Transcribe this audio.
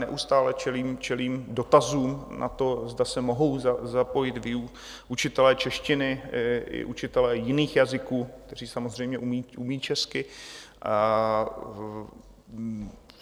Neustále čelím dotazům na to, zda se mohou zapojit učitelé češtiny i učitelé jiných jazyků, kteří samozřejmě umí česky.